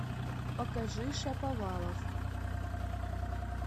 покажи шаповалов